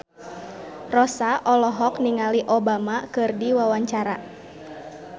Rossa olohok ningali Obama keur diwawancara